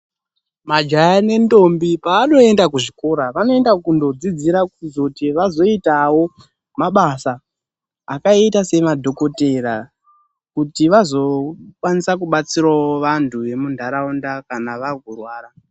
Majaha nendombi pavanoenda kuzvikora, vanoenda kundodzidzira kuzoti vazoitawo mabasa akaita seemadhokodheya kuti vazokwanisa kubatsirawo antu emunharaunda kana vave kurwara.